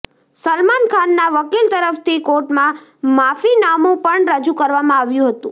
સલમાન ખાનના વકીલ તરફથી કોર્ટમાં માફીનામું પણ રજૂ કરવામાં આવ્યું હતું